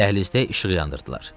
Dəhlizdə işığı yandırdılar.